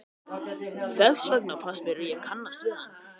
Þess vegna fannst mér ég kannast við hann.